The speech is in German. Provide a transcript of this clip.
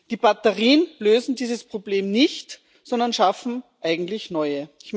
Die Batterien lösen dieses Problem nicht, sondern schaffen eigentlich neue.